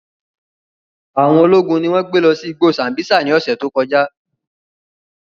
Awọn ologun ni wọn gbe lọ si igbo Sambisa ni ọsẹ to kọja.